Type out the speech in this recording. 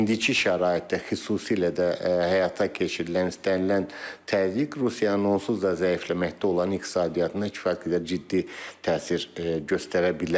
İndiki şəraitdə xüsusilə də həyata keçirilən istənilən təzyiq Rusiyanın onsuz da zəifləməkdə olan iqtisadiyyatına kifayət qədər ciddi təsir göstərə bilər.